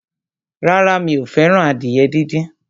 Rárá, mi ò fẹ́ràn adìyẹ díndín.